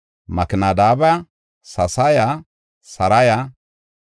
Makinadabaya, Sasaya, Saraya,